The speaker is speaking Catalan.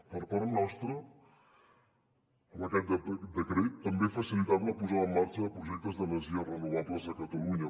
per part nostra amb aquest decret també facilitem la posada en marxa de projectes d’energies renovables a catalunya